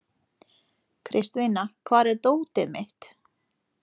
Kristvina, hvar er dótið mitt?